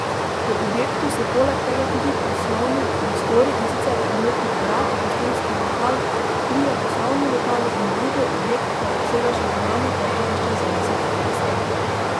V objektu so poleg tega tudi poslovni prostori, in sicer prometni urad, gostinski lokal, trije poslovni lokali in drugo, objekt pa obsega še zunanje parkirišče za deset taksijev.